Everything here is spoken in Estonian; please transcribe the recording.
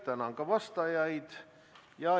Tänan ka vastajaid!